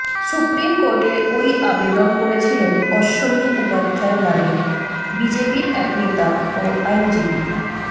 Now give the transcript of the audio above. supreme কোর্টে ওই আবেদন করেছিলেন অশ্বনী উপাধ্যায় নামে বিজেপির এক নেতা ও আইনজীবী